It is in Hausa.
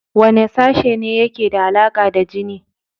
Wane sashe ne yake da alaƙa da jini?